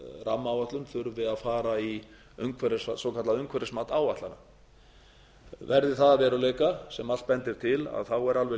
rammaáætlun þurfi að fara í svokallað umhverfismat áætlana verði það að veruleika sem allt bendir til þá er alveg